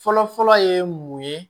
Fɔlɔfɔlɔ ye mun ye